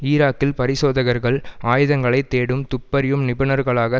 ஈராக்கில் பரிசோதகர்கள் ஆயுதங்களை தேடும் துப்பறியும் நிபுணர்களாக